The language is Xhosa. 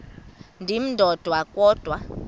ndim ndodwa kodwa